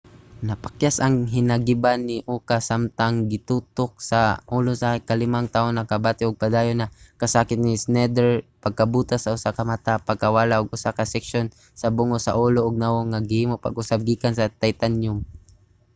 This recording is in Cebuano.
napakyas ang hinagiban ni uka samtang gitutok sa ulo sa ikalimang tawo. nakabati ug padayon na kasakit si schneider pagkabuta sa usa ka mata pagkawala ug usa ka seksyon sa bungo sa ulo ug nawong nga gihimo pag-usab gikan sa titanyum